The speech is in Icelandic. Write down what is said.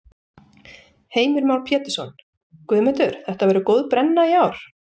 Heimir Már Pétursson: Guðmundur, þetta verður góð brenna í ár?